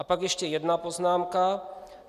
A pak ještě jedna poznámka.